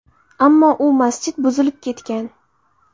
Ammo u masjid buzilib ketgan.